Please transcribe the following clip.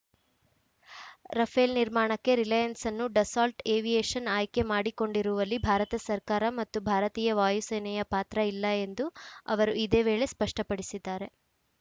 Rafale ನಿರ್ಮಾಣಕ್ಕೆ ರಿಲಯನ್ಸ್‌ ಅನ್ನು Dassault Aviation ಆಯ್ಕೆ ಮಾಡಿಕೊಂಡಿರುವಲ್ಲಿ ಭಾರತ ಸರ್ಕಾರ ಮತ್ತು ಭಾರತೀಯ ವಾಯುಸೇನೆಯ ಪಾತ್ರ ಇಲ್ಲ ಎಂದು ಅವರು ಇದೇ ವೇಳೆ ಸ್ಪಷ್ಟಪಡಿಸಿದ್ದಾರೆ